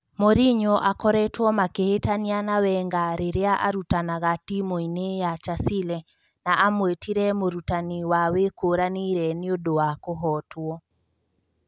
Morinyo akoretwo makĩhĩtania na Wenga rĩrĩa arutanaga timu-inĩ ya Chasile na amũĩtire " mũrutani wa wĩkũranĩire nĩũndũ wa kũhootwo